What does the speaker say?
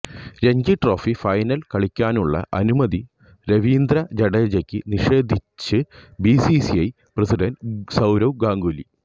Ranji trophy final കളിക്കാനുള്ള അനുമതി രവീന്ദ്ര ജഡേജക്ക് നിഷേധിച്ച് ബിസിസിഐ പ്രസിഡന്റ് സൌരവ് ഗാംഗുലി